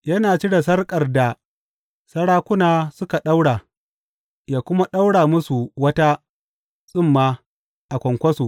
Yana cire sarƙar da sarakuna suka ɗaura yă kuma ɗaura musu wata tsumma a kwankwaso.